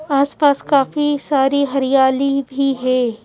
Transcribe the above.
आस पास काफी सारी हरियाली भी है।